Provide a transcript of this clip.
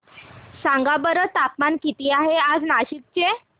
सांगा बरं तापमान किती आहे आज नाशिक चे